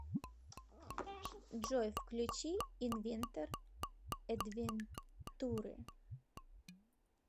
джой включи инвентор эдвентуре